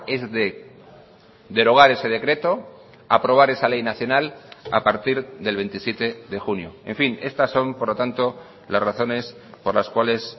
es de derogar ese decreto aprobar esa ley nacional a partir del veintisiete de junio en fin estas son por lo tanto las razones por las cuales